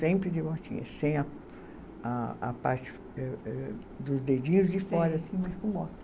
Sempre de botinha, sem a a a parte, eh eh dos dedinhos de fora, assim, mas com bota.